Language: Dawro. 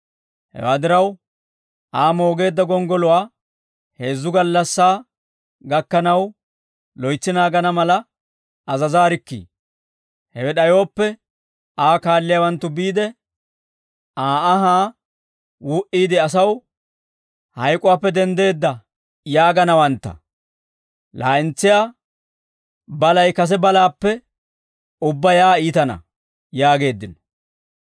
Hewaa diraw, Aa moogeedda gonggoluwaa heezzu gallassaa gakkanaw, loytsi naagana mala azazaarikkii; hewe d'ayooppe Aa kaalliyaawanttu biide, Aa anhaa wuu"iide asaw, ‹Hayk'uwaappe denddeedda› yaaganawantta; laa'entsiyaa balay kase balaappe ubbaa yaa iitana» yaageeddino.